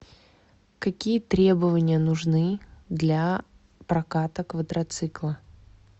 какие требования нужны для проката квадроцикла